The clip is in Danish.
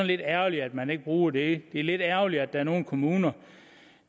lidt ærgerligt at man ikke bruger det det er lidt ærgerligt at der er nogle kommuner